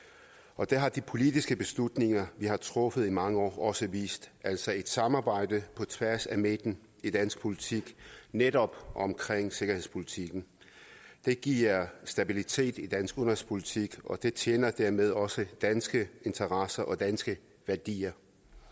og det har de politiske beslutninger vi har truffet i mange år også vist altså et samarbejde på tværs af midten i dansk politik netop omkring sikkerhedspolitikken det giver stabilitet i dansk udenrigspolitik og det tjener dermed også danske interesser og danske værdier